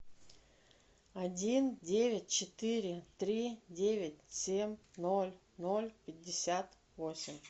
один девять четыре три девять семь ноль ноль пятьдесят восемь